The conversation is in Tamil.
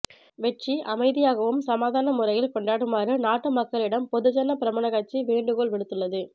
வெற்றி அமைதியாகவும் சமாதானமான முறையில் கொண்டாடுமாறு நாட்டு மக்களிடம் பொதுஜன பெரமுன கட்சி வேண்டுகோள் விடுத்துள்ளது